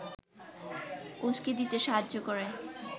উসকে দিতে সাহায্য করে